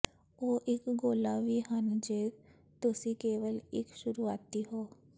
ਉਹ ਇੱਕ ਗੋਲਾ ਵੀ ਹਨ ਜੇ ਤੁਸੀਂ ਕੇਵਲ ਇੱਕ ਸ਼ੁਰੂਆਤੀ ਹੋ